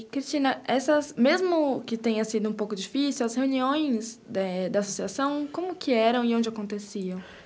E, Cristina, essas, mesmo que tenha sido um pouco difícil, as reuniões, eh, da associação, como que eram e onde aconteciam?